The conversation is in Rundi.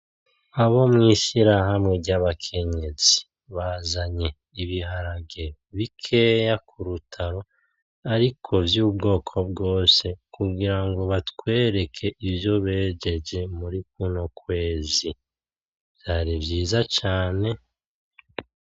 Abo mw'ishirahamwe ry'abakenyezi, bazanye ibiharage bikenya kurutaro ariko vyubwoko bwose kugira ngo batwereke ivyo bejeje muri kuno kwezi. Vyari vyiza cane.